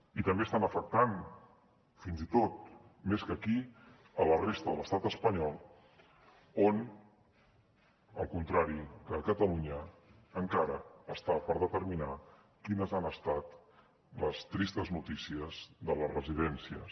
i també està afectant fins i tot més que aquí la resta de l’estat espanyol on al contrari que a catalunya encara està per determinar quines han estat les tristes notícies de les residències